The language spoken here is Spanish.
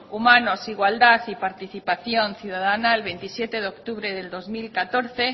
humanos igualdad y participación ciudadana el veintisiete de octubre de dos mil catorce